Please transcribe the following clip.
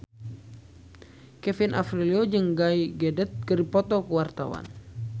Kevin Aprilio jeung Gal Gadot keur dipoto ku wartawan